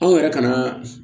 Anw yɛrɛ ka na